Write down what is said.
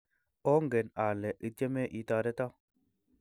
ongen ale itieme itoretoo